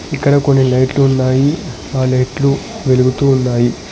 ఇక్కడ కొన్ని లైట్లు ఉన్నాయి ఆ లైట్లు వెలుగుతూ ఉన్నాయి.